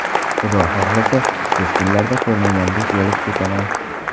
Xudo xohlasa, tez kunlarda ko‘rmagandek bo‘lib ketaman.